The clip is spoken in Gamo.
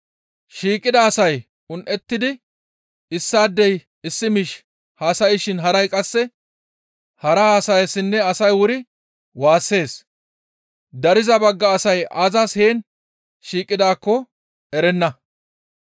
Shiiqida asay un7ettidi issaadey issi miish haasayshin haray qasse hara haasayeessinne asay wuri waassees; dariza bagga asay aazas heen shiiqidaakko erenna.